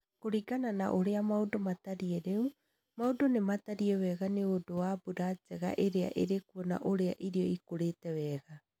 Kũringana na ũrĩa maũndũ matariĩ rĩũ, maũndũ nĩ matariĩ wega nĩ ũndũ wa mbura njega ĩrĩa ĩrĩkuo na ũrĩa irio ikũrĩte wega